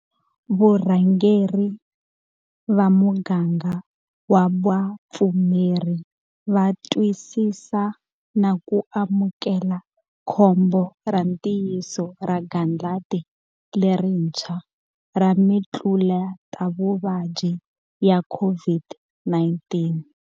Varhangeri va muganga wa vapfumeri va twisisa na ku amukela khombo ra ntiyiso ra gandlati lerintshwa ra mitluletavuvabyi ya COVID-19.